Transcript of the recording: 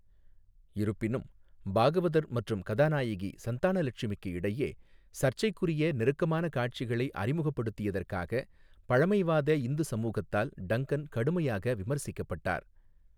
இருப்பினும், பாகவதர் மற்றும் கதாநாயகி சந்தானலட்சுமிக்கு இடையே சர்ச்சைக்குரிய நெருக்கமான காட்சிகளை அறிமுகப்படுத்தியதற்காக பழமைவாத இந்து சமூகத்தால் டங்கன் கடுமையாக விமர்சிக்கப்பட்டார்.